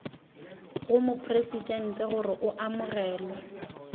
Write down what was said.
go mopresidente gore o amogelwe